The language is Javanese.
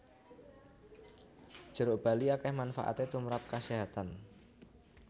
Jeruk bali akeh manfaate tumprap kasehatan